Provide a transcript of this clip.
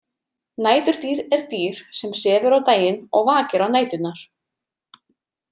Næturdýr er dýr sem sefur á daginn og vakir á næturnar.